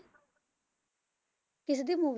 ਕਿਸਦੀ ਮੂ~